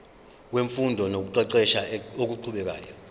wemfundo nokuqeqesha okuqhubekayo